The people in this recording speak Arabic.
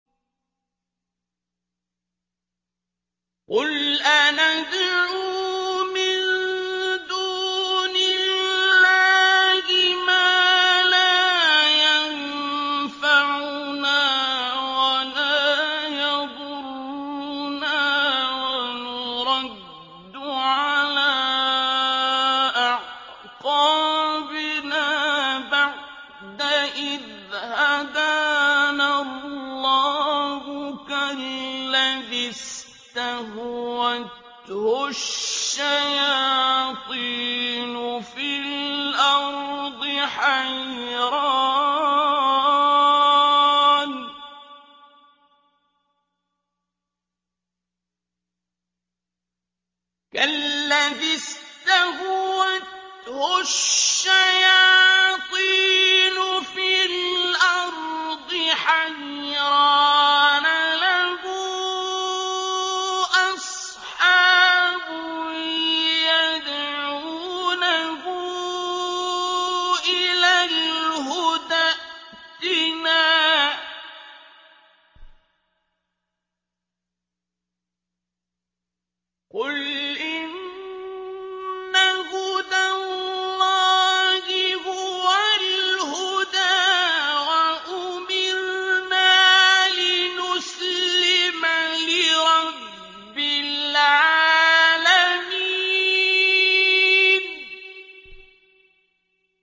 قُلْ أَنَدْعُو مِن دُونِ اللَّهِ مَا لَا يَنفَعُنَا وَلَا يَضُرُّنَا وَنُرَدُّ عَلَىٰ أَعْقَابِنَا بَعْدَ إِذْ هَدَانَا اللَّهُ كَالَّذِي اسْتَهْوَتْهُ الشَّيَاطِينُ فِي الْأَرْضِ حَيْرَانَ لَهُ أَصْحَابٌ يَدْعُونَهُ إِلَى الْهُدَى ائْتِنَا ۗ قُلْ إِنَّ هُدَى اللَّهِ هُوَ الْهُدَىٰ ۖ وَأُمِرْنَا لِنُسْلِمَ لِرَبِّ الْعَالَمِينَ